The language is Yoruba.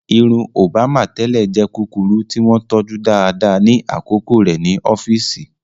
Irun Òbámà tẹ́lẹ̀ jẹ́ kúkúrú tí wọ́n tọ́jú dáadáa ní àkókò rẹ̀ ní ọ́fíìsì.